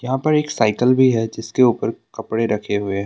यहां पर एक साइकिल भी है जिसके ऊपर कपड़े रखे हुए हैं।